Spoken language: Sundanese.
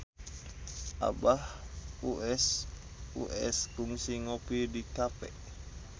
Abah Us Us kungsi ngopi di cafe